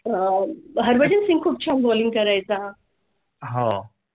आह हरभजन सिंग च्या bowling करायचा.